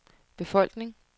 befolkning